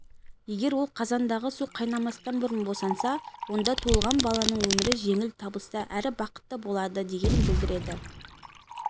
егер ол қазандағы су қайнамастан бұрын босанса онда туылған баланың өмірі жеңіл табысты әрі бақытты болады дегенді білдіреді